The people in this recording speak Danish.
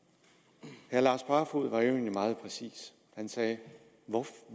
her herre lars barfoed var jo egentlig meget præcis han sagde